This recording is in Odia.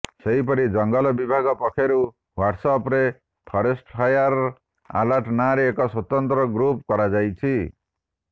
ସେହିପରି ଜଙ୍ଗଲ ବିଭାଗ ପକ୍ଷରୁ ହ୍ବାଟ୍ସଆପ୍ରେ ଫରେଷ୍ଟଫାୟାର୍ ଆଲର୍ଟ ନାଁରେ ଏକ ସ୍ବତନ୍ତ୍ର ଗ୍ରୁପ୍ କରାଯାଇଛି